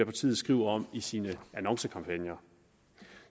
partiet skriver om i sine annoncekampagner